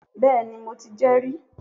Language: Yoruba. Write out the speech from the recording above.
Béeni, mo ti jé ri